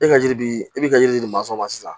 E ka yiri bi e bi ka yiri di ma sisan